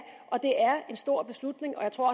og det er en stor beslutning og jeg tror